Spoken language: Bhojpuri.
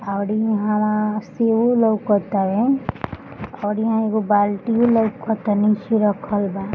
और इहां-वहां सेवो लउकतावे और इहा एगो बाल्टीयो लउक तानी निचे रखल बा।